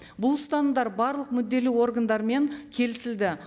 бұл ұстанымдар барлық мүдделі органдармен келісілді